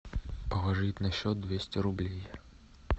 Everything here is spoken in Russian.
положить на счет двести рублей